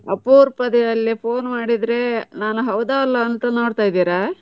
ಅಪ್ರೂಪದಲ್ಲಿ phone ಮಾಡಿದ್ರೆ ನಾನ್ ಹೌದೋ ಅಲ್ವೋ ಅಂತ ನೋಡ್ತಿದ್ದೀರಾ?